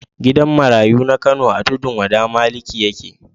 Gidan marayu na Kano a Tudun Maliki yake.